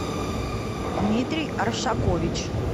дмитрий оршакович